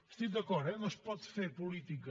hi estic d’acord eh no es pot fer política